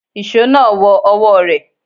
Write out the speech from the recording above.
Ìṣó náà wọ ọwọ́ rẹ̀.